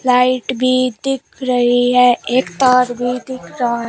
light भी दिख रही है एक तार भी दिख रहा--